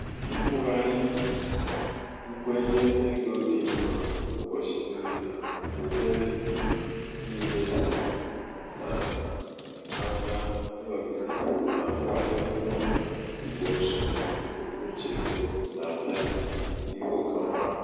ikwugharị nkwenye ego dị mma ụbọchị niile na-enyere niile na-enyere m um aka ịnọgide na mkpali mmụọ igbo nsogbu mbunuche ego m na-abịa n'ihu nke ọma.